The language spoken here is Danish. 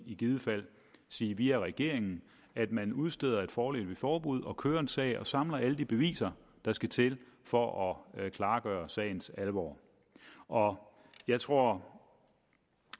i givet fald sige via regeringen at man udsteder et foreløbigt forbud og kører en sag og samler alle de beviser der skal til for at klargøre sagens alvor og jeg tror